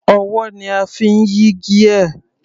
Ọwọ́ ni a fi ń yí gear.